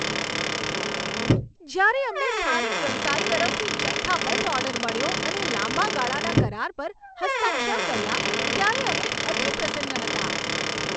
જ્યારે અમને સ્થાનિક વ્યવસાય તરફથી જથ્થાબંધ ઓર્ડર મળ્યો અને લાંબા ગાળાના કરાર પર હસ્તાક્ષર કર્યા ત્યારે અમે અતિપ્રસન્ન હતાં.